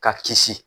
Ka kisi